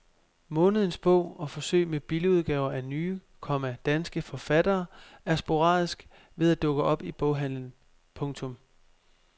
Månedens bog og forsøg med billigudgaver af nye, komma danske forfattere er sporadisk ved at dukke op i boghandlen. punktum